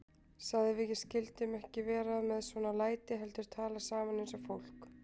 Sagði að við skyldum ekki vera með svona læti heldur tala saman eins og fólk.